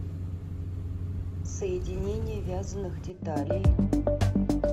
соединение вязаных деталей